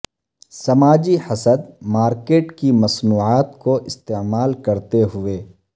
سماجی حسد مارکیٹ کی مصنوعات کو استعمال کرتے ہوئے